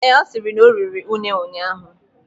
Ee, ọ sịrị na oriri une ụnyaahụ.